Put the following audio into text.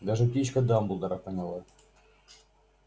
даже птичка дамблдора поняла